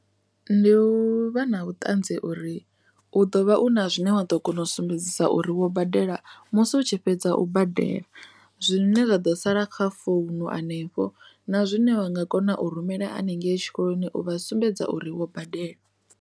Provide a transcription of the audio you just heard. Ndi u vha na vhuṱanzi uri u ḓo vha u na zwine wa ḓo kona u sumbedzisa uri wo badela musi u tshi fhedza u badela zwine zwa ḓo sala kha founu hanefho na zwine wa nga kona u rumela haningei tshikoloni u vha sumbedza uri wo badela.